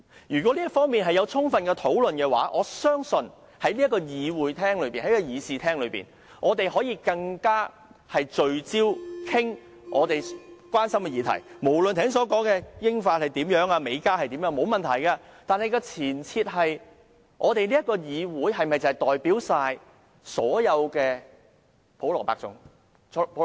如果在這方面已有充分討論，我們便可以在議事廳裏更聚焦地討論大家關心的議題，無論是剛才所說的英法還是美加做法，這方面沒有問題，但立法會能否代表所有普羅百姓呢？